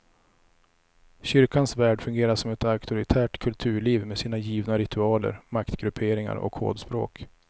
Kyrkans värld fungerar som ett auktoritärt kulturliv med sina givna ritualer, maktgrupperingar och kodspråk.